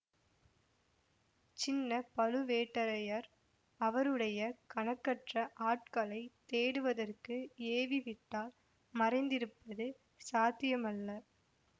சின்ன பழுவேட்டரையர் அவருடைய கணக்கற்ற ஆட்களைத் தேடுவதற்கு ஏவிவிட்டால் மறைந்திருப்பது சாத்தியமல்ல